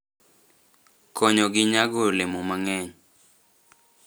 Konyogi nyago olemo mang'eny.